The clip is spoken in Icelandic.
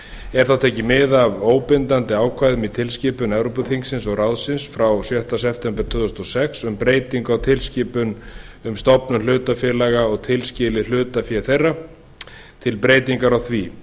er þá tekið mið af óbindandi ákvæðum í tilskipun evrópuþingsins og ráðsins frá sjötta september tvö þúsund og sex um breytingu á tilskipun um um stofnun hlutafélaga og tilskilið hlutafé þeirra og breytingar á því